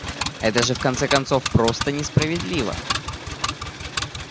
это же в конце концов просто несправедливо